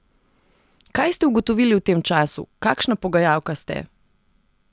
Kaj ste ugotovili v tem času, kakšna pogajalka ste?